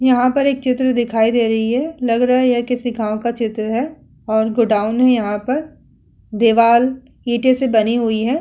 यहाँ पर एक चित्र दिखाई दे रही है। लग रहा है यह किसी गाँव का चित्र है और गोडाउन है यहाँ पर। दीवाल इटों से बरी हुई हैं।